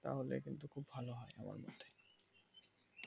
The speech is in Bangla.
তাহলে কিন্তু খুব ভালো হয় আমার মতে